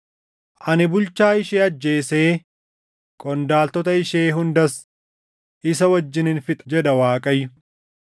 Ani bulchaa ishee ajjeesee qondaaltota ishee hundas isa wajjinin fixa” jedha Waaqayyo.